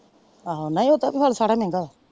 ਆਹੋ ਨਾ ਉਡਦਾ ਤੇ ਫੈਲ ਸਾਰ ਮਹਿੰਗਾ।